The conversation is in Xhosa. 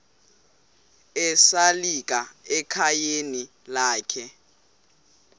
esalika ekhayeni lakhe